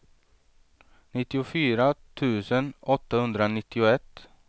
nittiofyra tusen åttahundranittioett